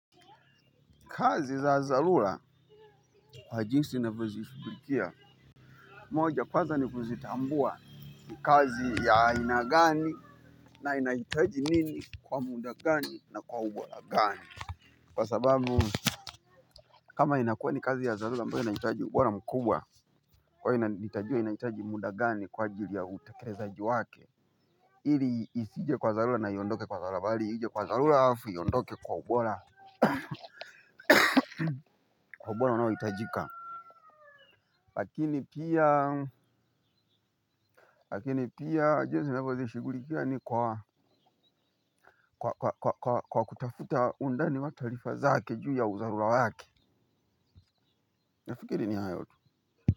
Kazi za dharura kwa jinsi ninavyo zishughulikia, moja kwaza ni kuzitambua ni kazi ya aina gani na inajitaji nini kwa muda gani na kwa ubora gani. Kwa sababu kama inakuwa ni kazi ya dharura ambayo inahitaji ubora mkubwa, kwa hiyo nahitaji y muda gani kwa ajili ya utekelezaji wake, ili isije kwa dharura na iondoke kwa dharura bali ije kwa dharura alafu iondoke kwa ubora. Kwa ubora unaohitajika. Lakini pia, lakini pia jinsi navyozishughulikia ni kwa kwa kutafuta undani wa taarifa zake juu ya udharura wake. Nafikiri ni hayo tu.